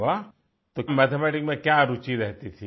अरे वाह तो क्या मैथमेटिक में क्या रूचि रहती